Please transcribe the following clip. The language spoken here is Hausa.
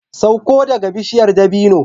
Sauko daga bishiyar dabino